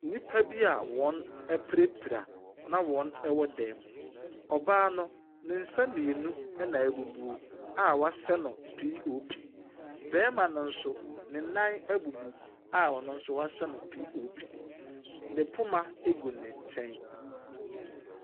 Nnipa bi wɔapirapira na wɔwɔ dan mu. Ɔbaa no ne nsa mmienu na abubu wɔahyɛ no POP. Barima no nso ne nan abubu a ɔno nso wɔahyɛ no POP, ne poma gu ne nkyɛn.